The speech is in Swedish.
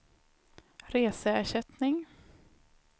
reseersättning